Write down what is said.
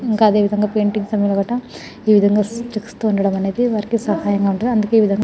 ఇంకా అదే విధంగా పెయింటింగ్స్ ఏ విధముగా వారికీ సహాయంగా ఉంటదిఅందుకే ఈ విధంగా --